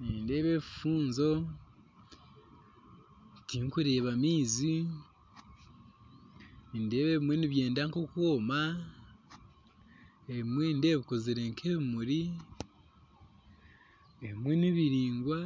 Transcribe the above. Nindeeba ebifuunzo tikureeba maizi nindeeba ebimwe nibyenda nk'okwooma ebimwe nindeeba bikozirwe nk'ebimuri ebimwe nibiraingwa